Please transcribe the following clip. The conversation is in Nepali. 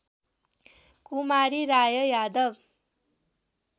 कुमारी राय यादव